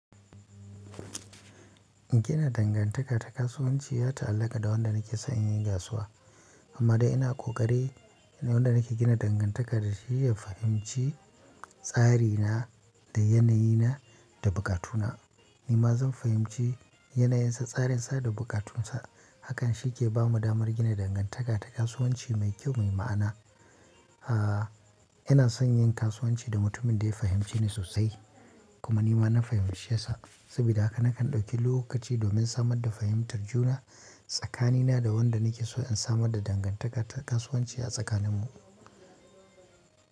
Gina dangantaka ta kasuwanci ya ta'allaƙa da wanda nake son in yi kasuwa. Amma dai ina ƙoƙari naga wanda nake gina dangantaka dashi ya fahimci tsarina, da yanayina da buƙatuna. Ni ma zan fahimci yanayinsa, tsarin sa da buƙatun sa. Hakan shi ke ba mu damar gina dangantaka ta kasuwanci mai kyau, mai ma'ana. Ah, ina son yin kasuwanci da mutumin da ya fahimceni sosai kuma ni ma na fahimcesa, saboda haka na kan ɗauki lokaci domin samar da fahimtar juna tsakanina da wanda nake so in samar da dangantaka ta kasuwanci a tsakanin mu.